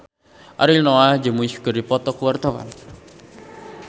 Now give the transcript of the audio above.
Ariel Noah jeung Muse keur dipoto ku wartawan